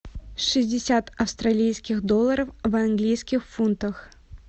шестьдесят австралийских долларов в английских фунтах